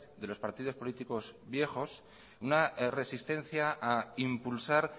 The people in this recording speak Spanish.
de los partidos políticos viejos una resistencia a impulsar